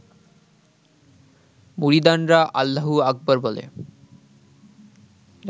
মুরিদানরা আল্লাহু আকবর বলে